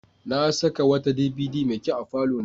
Na saka wata DVD mai kyau a falona.